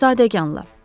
Bir zadəganla.